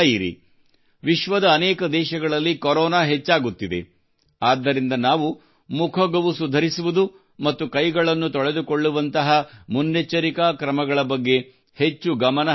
ವಿಶ್ವದ ಅನೇಕ ದೇಶಗಳಲ್ಲಿ ಕೊರೋನಾ ಹೆಚ್ಚಾಗುತ್ತಿದೆ ಆದ್ದರಿಂದ ನಾವು ಮುಖ ಗವುಸು ಧರಿಸುವುದು ಮತ್ತು ಕೈಗಳನ್ನು ತೊಳೆದುಕೊಳ್ಳುವಂತಹ ಮುನ್ನೆಚ್ಚರಿಕಾ ಕ್ರಮಗಳ ಬಗ್ಗೆ ಹೆಚ್ಚು ಗಮನ ಹರಿಸಬೇಕಿದೆ